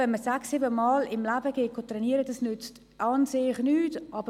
Wenn man sechs- oder siebenmal im Leben trainieren geht, nützt das an sich nichts.